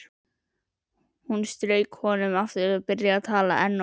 Hún strauk honum og byrjaði að tala enn og aftur.